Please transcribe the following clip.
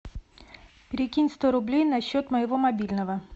перекинь сто рублей на счет моего мобильного